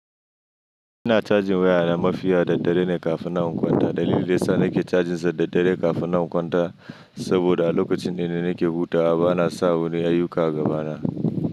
Ina cajin wayana mafiya da daddare ne kafin na kwanta. Dalilin da yasa nake cajinsa da daddare kafin na kwanta saboda a lokacin da ina nake hutawa bana sa wani ayuka agaba na.